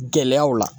Gɛlɛyaw la